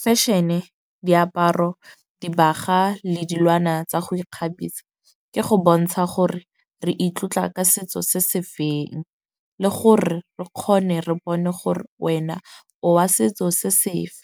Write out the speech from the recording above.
Fashion-e, diaparo, dibaga le dilwana tsa go ikgabisa, ke go bontsha gore re itlotla ka setso se se feng le gore re kgone re bone gore wena o wa setso se sefe.